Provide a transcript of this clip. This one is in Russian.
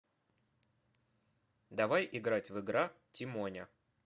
давай играть в игра тимоня